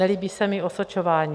Nelíbí se mi osočování.